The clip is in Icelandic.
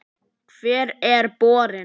Hvar er borinn?